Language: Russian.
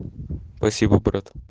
спасибо брат